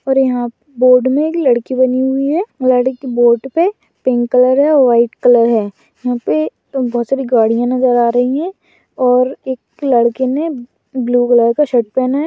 और यहाँ बोर्ड मे एक लड़की बनी हुई है बोट पे पिंक कलर है व्हाइट कलर है। यहाँ पे बहुत सारी गाड़ियाँ नजर आ रही है और एक लड़के ने ब्लू कलर का शर्ट पेहेना है।